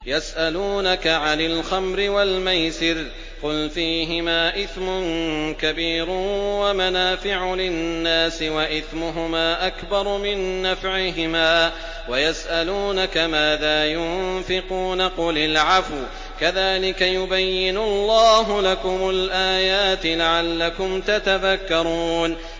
۞ يَسْأَلُونَكَ عَنِ الْخَمْرِ وَالْمَيْسِرِ ۖ قُلْ فِيهِمَا إِثْمٌ كَبِيرٌ وَمَنَافِعُ لِلنَّاسِ وَإِثْمُهُمَا أَكْبَرُ مِن نَّفْعِهِمَا ۗ وَيَسْأَلُونَكَ مَاذَا يُنفِقُونَ قُلِ الْعَفْوَ ۗ كَذَٰلِكَ يُبَيِّنُ اللَّهُ لَكُمُ الْآيَاتِ لَعَلَّكُمْ تَتَفَكَّرُونَ